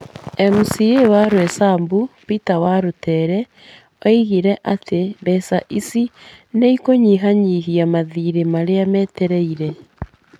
MCA wa Roysambu Peter Warũtere oigire atĩ mbeca icio nĩ ikũnyihanyihia mathiirĩ marĩa metereire.